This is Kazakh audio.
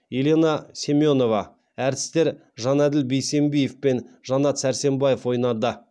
елена семенова әртістер жанәділ бейсембиев пен жанат сәрсембаев ойнады